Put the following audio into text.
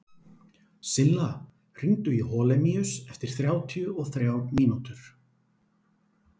Silla, hringdu í Holemíus eftir þrjátíu og þrjár mínútur.